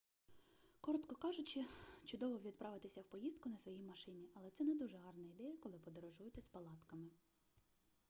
коротко кажучи чудово відправитися в поїздку на своїй машині але це не дуже гарна ідея коли подорожуєте з палатками